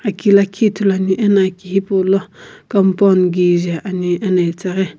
aki lakhi ithuluani ena aki hipaulo compound kije ani ena itaghi--